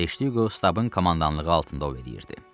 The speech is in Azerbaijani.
Teşdiqo stabın komandanlığı altında o eləyirdi.